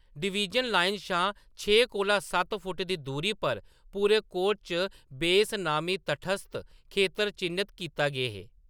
Division line शा छे कोला सत्त फुट्ट दी दूरी पर पूरे कोर्ट च बेस नामी तटस्थ खेतर चि'न्नत कीते गे हे।